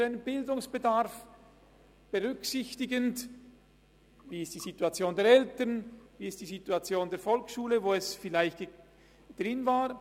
Dies geschieht unter Berücksichtigung der Situation der Eltern oder der Situation der Volksschule, in der das Kind vielleicht war.